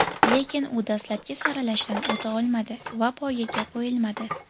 Lekin u dastlabki saralashdan o‘ta olmadi va poygaga qo‘yilmadi.